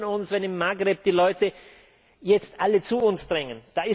Wir wundern uns, wenn im Maghreb die Leute jetzt alle zu uns drängen.